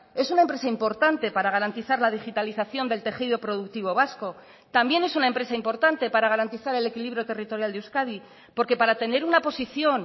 es una empresa importante para garantizar la digitalización del tejido productivo vasco también es una empresa importante para garantizar el equilibrio territorial de euskadi porque para tener una posición